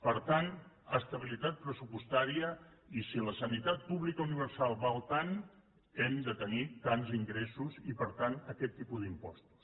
per tant estabilitat pressupostària i si la sanitat pública universal val tant hem de tenir tants ingressos i per tant aquest tipus d’impostos